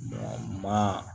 Maa